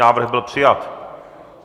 Návrh byl přijat.